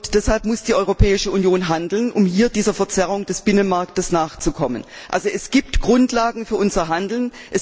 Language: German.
Deshalb muss die Europäische Union handeln, um dieser Verzerrung des Binnenmarktes nachzukommen. Also, es gibt Grundlagen für unser Handeln.